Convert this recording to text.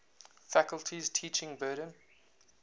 faculty's teaching burden